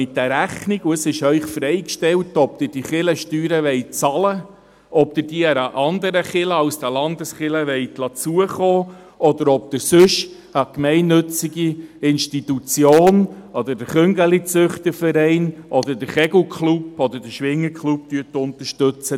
Sie erhalten eine Rechnung, und es ist ihnen freigestellt, ob sie diese Kirchensteuern bezahlen wollen, ob sie sie einer anderen Kirche als der Landeskirche zukommen lassen wollen, oder ob sie sonst eine gemeinnützige Institution oder den Kaninchenzüchterverein, den Kegel- oder den Schwingerklub damit unterstützen.